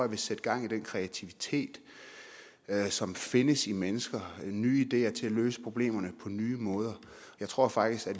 vil sætte gang i den kreativitet som findes i mennesker nye ideer til at løse problemerne på nye måder jeg tror faktisk at